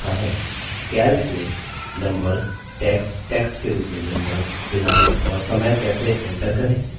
calc में numbers text text के रूप में numbers दिनांक और समय कैसे enter करें